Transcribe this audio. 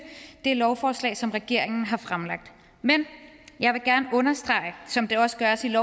det lovforslag som regeringen har fremsat men jeg vil gerne understrege som det også gøres i